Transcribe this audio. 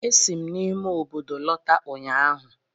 Esi m n'ime obodo lọta ụnyaahụ